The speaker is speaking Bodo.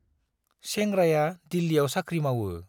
सेंग्राया दिल्लीयाव साख्रि मावो।